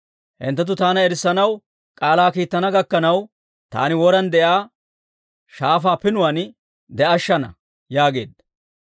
Hinttenttu taana erissanaw k'aalaa kiittana gakkanaw, taani woran de'iyaa shaafaa pinuwaan de'ashshana» yaageedda.